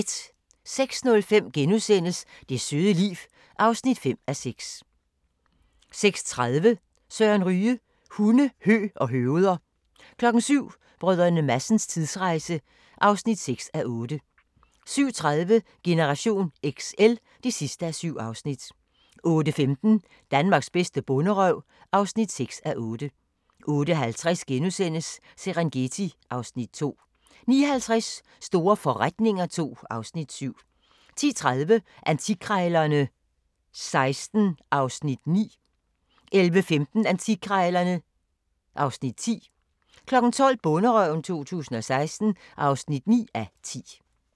06:05: Det søde liv (5:6)* 06:30: Søren Ryge: Hunde, hø og høveder 07:00: Brdr. Madsens tidsrejse (6:8) 07:30: Generation XL (7:7) 08:15: Danmarks bedste bonderøv (6:8) 08:50: Serengeti (Afs. 2)* 09:50: Store forretninger II (Afs. 7) 10:30: Antikkrejlerne XVI (Afs. 9) 11:15: Antikkrejlerne (Afs. 10) 12:00: Bonderøven 2016 (9:10)